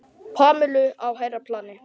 Pamelu á hærra plani.